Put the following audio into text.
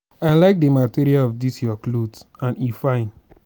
i like the material of dis your cloth and e fine